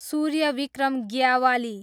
Suryavikram Gyawali